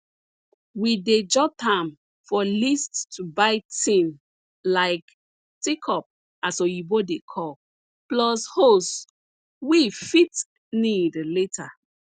we dey jot am for list to buy tin like teacup as oyibo dey call plus hose we fit need later